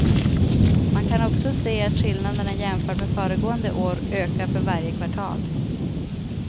Man kan också se att skillnaderna jämfört med föregående år ökar för varje kvartal.